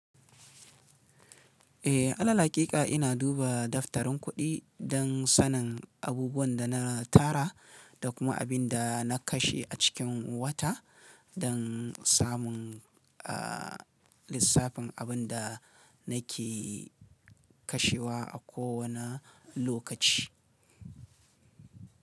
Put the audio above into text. Eh, alal haƙiƙa ina duba daftarin kuɗi don sanin abubuwan da na tara da kuma abin da na kashe a cikin wata don samun, aah, lissafin abin da nake kashewa a kowane lokaci.